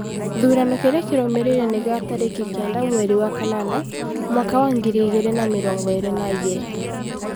Gĩthurano kĩrĩa kĩrũmĩrĩire nĩ kĩa tarĩki kenda mweri wa kanana, mwaka wa ngiri igĩrĩ na mĩrongo ĩrĩ na igĩrĩ ,